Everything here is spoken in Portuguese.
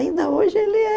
Ainda hoje, ele é...